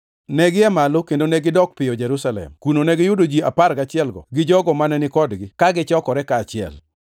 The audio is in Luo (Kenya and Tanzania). Negia malo kendo negidok piyo Jerusalem. Kuno negiyudo ji apar gachielgo gi jogo mane ni kodgi, ka gichokore kaachiel,